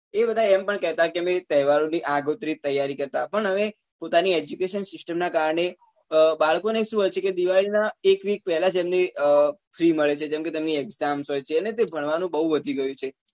એ બધા એમ પણ કહેતા કે અમે તહેવારો ની આગોતરી તૈયારી કરતા પણ હવે પોતાની education system નાં કારણે અ બાળકો ને શું હોય છે કે દિવાળી નાં એક week પહેલાં જ એમને free મળે છે કેમ કે તેમની exam હોય છે અને તે ભણવા નું બઉ વધી ગયું છે